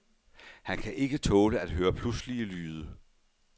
Han kan ikke tåle at høre pludselige lyde.